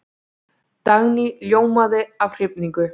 Dagný ljómaði af hrifningu.